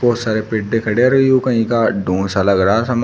बहुत सारे पेटे खड़े रहियो कहीं का सा लग रहा है सामान।